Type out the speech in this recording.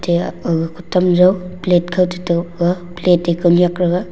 ya ag kotam jau plate kote toh ga plate te kau nyak thaga.